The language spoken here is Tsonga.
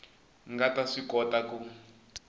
nga ta swi kota ku